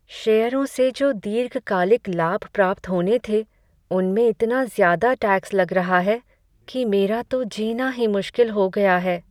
शेयरों से जो दीर्घकालिक लाभ प्राप्त होने थे, उनमें इतना ज़्यादा टैक्स लग रहा है कि मेरा तो जीना ही मुश्किल हो गया है।